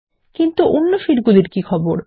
কিন্তু অন্য শীট গুলির কি খবর160